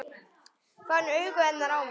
Fann augu hennar á mér.